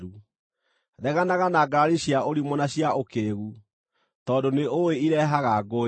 Reganaga na ngarari cia ũrimũ na cia ũkĩĩgu, tondũ nĩũĩ irehage ngũĩ.